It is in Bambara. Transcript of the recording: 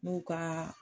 N'u ka